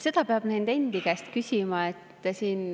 Seda peab nende endi käest küsima.